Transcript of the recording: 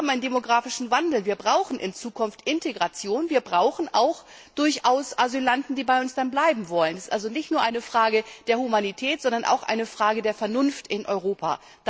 Wir haben einen demografischen Wandel, wir brauchen in Zukunft Integration und durchaus auch Asylanten, die bei uns bleiben wollen. Es ist also nicht nur eine Frage der Humanität, sondern auch eine Frage der Vernunft in Europa.